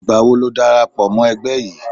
Ìgbàwo ni o dára pọ̀ mọ́ ẹgbẹ́ yìí?